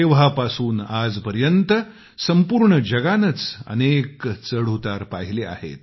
तेव्हापासून आजपर्यंत संपूर्ण जगानंच अनेक चढउतार पाहिलेत